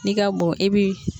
N'i ka bon e bi